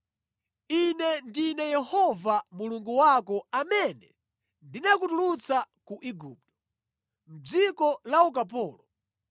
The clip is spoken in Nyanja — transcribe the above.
“Ine ndine Yehova Mulungu wako amene ndinakutulutsa ku Igupto, mʼdziko la ukapolo.